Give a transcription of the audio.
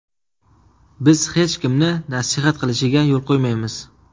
Biz hech kimni nasihat qilishiga yo‘l qo‘ymaymiz.